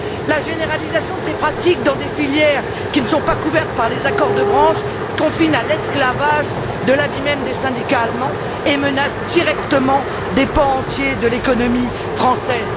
La généralisation de ces pratiques dans des filières qui ne sont pas couvertes par des accords sectoriels confine à l'esclavage, de l'avis même des syndicats allemands, et menace directement des pans entiers de l'économie française.